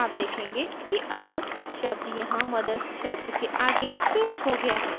आप देखेंगे कि अब शब्द यहाँ mother s शब्द के आगे pasted हो गया है